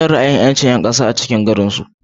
Jan ra ayi yinarage yancin yankasan a cikin garinsu